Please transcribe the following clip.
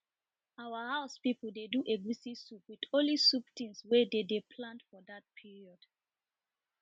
our house people dey do egusi soup with only soup things wey dey de plant for dat period